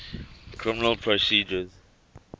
criminal procedure